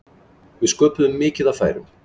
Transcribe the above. Við sköpuðum mikið af færum.